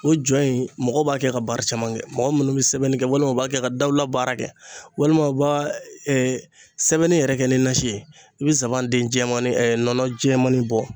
O jɔ in, mɔgɔw b'a kɛ ka baara caman kɛ, mɔgɔ munnu bɛ sɛbɛnni kɛ, walima u b'a kɛ ka dawla baara kɛ, walima u b'a sɛbɛnni yɛrɛ kɛ ni nasi ye, i bɛ sabancɛ nɔnɔ jɛmani bɔ